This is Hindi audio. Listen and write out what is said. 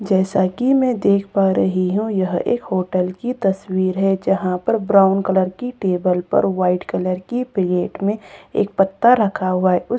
जैसा कि मैं देख पा रही हूं यह एक होटल की तस्वीर है जहां पर ब्राउन कलर की टेबल पर व्हाइट कलर की प्लेट में एक पत्ता रखा हुआ है उस --